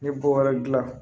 Ne bɔ wɛrɛ dilan